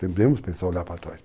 Temos que pensar, olhar para trás.